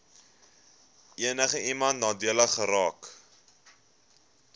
enigiemand nadelig geraak